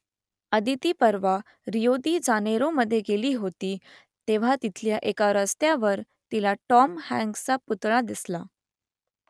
अदिती परवा Rio de जानेरोमध्ये गेली होती तेव्हा तिथल्या एका रस्त्यावर तिला टॉम हँक्सचा पुतळा दिसला